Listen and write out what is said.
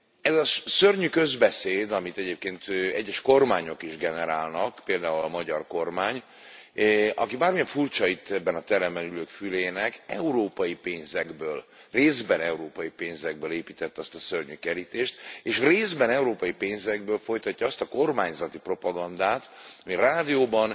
Ez a szörnyű közbeszéd, amit egyébként egyes kormányok is generálnak, például a magyar kormány, amely, bármilyen furcsa az itt, ebben a teremben ülők fülének európai pénzekből, részben európai pénzekből építette azt a szörnyű kerítést, és részben európai pénzekből folytatja azt a kormányzati propagandát, ami rádióban,